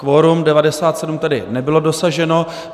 Kvorum 97 tedy nebylo dosaženo.